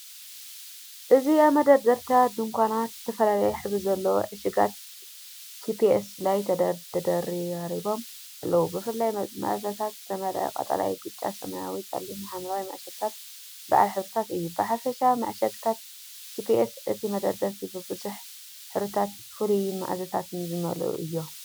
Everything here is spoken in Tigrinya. እዚ ኣብ መደርደሪታት ድኳናት፡ ዝተፈላለየ ሕብሪ ዘለዎም ዕሹጋት ቺፕስ ላይ ተደራሪቦም ኣለዉ። ብፍሉይ መኣዛታት ዝተመልአ ቀጠልያ፡ ብጫ፡ ሰማያዊ፡ ጸሊምን ሐምላይን መዐሸግታት በዓል ሕብርታት እዩ። ብሓፈሻ መዐሸግታት ቺፕስ ነቲ መደርደሪታት ብብዙሕ ሕብርታትን ፍሉይ መኣዛታትን ዝመልኡ እዮም።